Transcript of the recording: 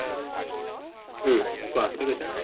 উম কোৱা, কি কৈছা?